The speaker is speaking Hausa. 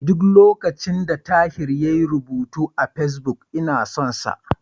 Duk lokacin da Tahir yayi rubutu a Fesbuk, ina son sa.